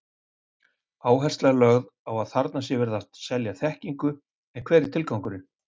Áhersla er lögð á að þarna sé verið að selja þekkingu, en hver er tilgangurinn?